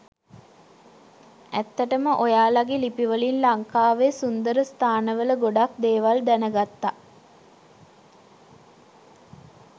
ඇත්තටම ඔයාලගේ ලිපිවලින් ලංකාවේ සුන්දර ස්ථාන වල ගොඩක් දේවල් දැනගත්ත.